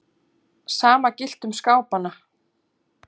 Sama gilti um skápana.